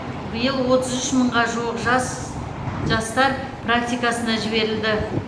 биыл отыз үш мыңға жуық жас жастар практикасына жіберілді